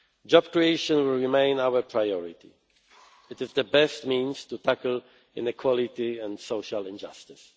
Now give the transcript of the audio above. Job creation will remain our priority. It is the best means to tackle inequality and social injustice.